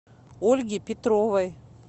ольги петровой